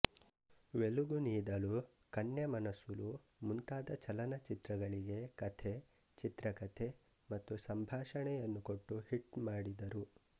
ವೆಲುಗುನೀದಲು ಕನ್ನೆಮನಸುಲು ಮುಂತಾದ ಚಲನಚಿತ್ರಗಳಿಗೆ ಕಥೆ ಚಿತ್ರಕಥೆ ಮತ್ತು ಸಂಭಾಷಣೆಯನ್ನು ಕೊಟ್ಟು ಹಿಟ್ ಮಾಡಿದರು